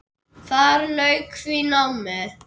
Þar lauk því námi.